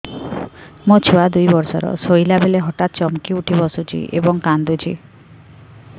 ମୋ ଛୁଆ ଦୁଇ ବର୍ଷର ଶୋଇଲା ବେଳେ ହଠାତ୍ ଚମକି ଉଠି ବସୁଛି ଏବଂ କାଂଦୁଛି